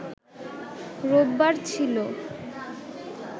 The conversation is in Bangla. রোববার ছিল